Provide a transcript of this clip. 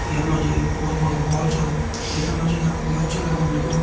यख मा जी एक बहोत बड़ू हॉल छ यख मा जी यख ब्यो छ लगण लग्युं।